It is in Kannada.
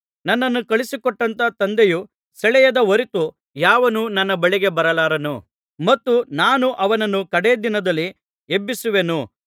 ನನ್ನನ್ನು ಕಳುಹಿಸಿಕೊಟ್ಟಂಥ ತಂದೆಯು ಸೆಳೆಯದ ಹೊರತು ಯಾವನೂ ನನ್ನ ಬಳಿಗೆ ಬರಲಾರನು ಮತ್ತು ನಾನು ಅವನನ್ನು ಕಡೆ ದಿನದಲ್ಲಿ ಎಬ್ಬಿಸುವೆನು